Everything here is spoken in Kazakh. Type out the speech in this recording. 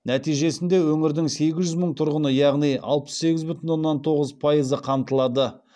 нәтижесінде өңірдің сегіз жүз мың тұрғыны яғни алпыс сегіз бүтін оннан тоғыз пайызы қамтылады